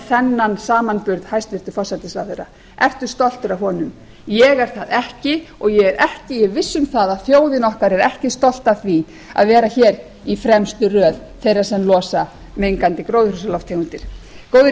þennan samanburð hæstvirtur forsætisráðherra ertu stoltur af honum ég er það ekki og ég er viss um að þjóðin okkar er ekki stolt af því að vera hér í fremstu röð þeirra sem losa mengandi gróðurhúsalofttegundir góðir